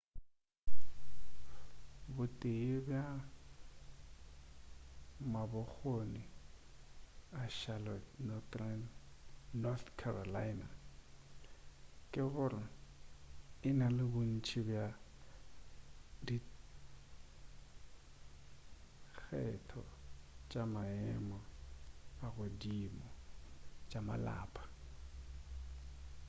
bo tee bja mabokgoni a charlotte north carolina ke gore e na le bontši bja dikgetho tša maemo a godimo tša malapa